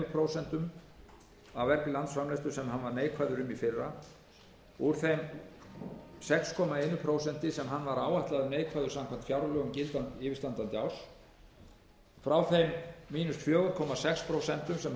sem hann var neikvæður um í fyrra úr því sex komma eitt prósent sem hann var áætlaður neikvæður samkvæmt gildandi fjárlögum yfirstandandi árs frá þeim fjögur komma sex prósent sem hann er